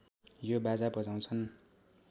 यो बाजा बजाउँछन्